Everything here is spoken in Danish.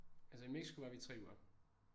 Altså i Mexico var vi 3 uger